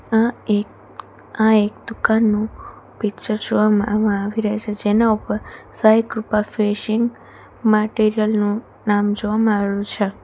આ એક આ એક દુકાનનું પિક્ચર જોવામાં માં આવી રયુ છે જેના ઉપર સાંઈ કૃપા ફેસીંગ મટીરીયલ નું નામ જોવામાં આવી રયુ છે.